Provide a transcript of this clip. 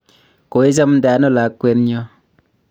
koichamde ano lakwenyo?